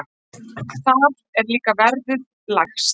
Þar er líka verðið lægst.